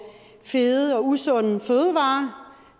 fede og usunde fødevarer